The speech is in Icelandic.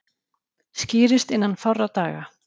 Skýrist innan fárra daga